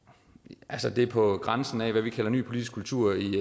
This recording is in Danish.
altså det er på grænsen af hvad vi kalder ny politisk kultur i